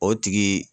O tigi